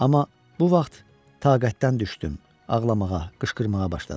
Amma bu vaxt taqətdən düşdüm, ağlamağa, qışqırmağa başladım.